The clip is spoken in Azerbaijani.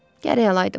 Gərək alaydım.